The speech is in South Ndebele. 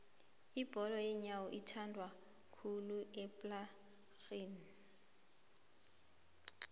ibholo yenyowo ithandwakhulu laphaekhaga